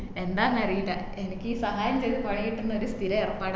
എന്താന്ന് അറീല എനിക്ക് ഈ സഹായം ചെയ്ത് പണി കിട്ടുന്ന ഒരു സ്ഥിര ഏർപ്പാട്